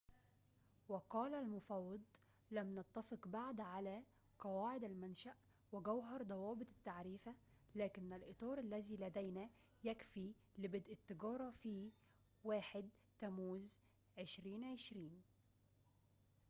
وقال المفوض لم نتفق بعد على قواعد المنشأ وجوهر ضوابط التعريفة لكن الإطار الذي لدينا يكفي لبدء التجارة في 1 تموز 2020